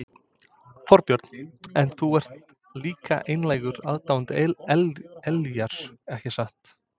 Þorbjörn: En þú ert líka einlægur aðdáandi Ellýjar ekki satt?